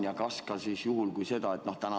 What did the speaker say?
Kuidas see on?